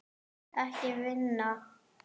Hann var bara bestur.